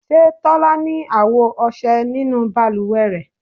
Ṣe tola ni awo ọṣẹ ninu baluwe rẹ